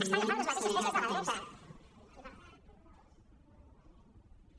està agafant les mateixes tesis de la dreta i per tant